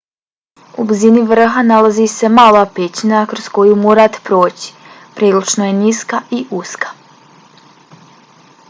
u blizini vrha nalazi se mala pećina kroz koju morate proći prilično je niska i uska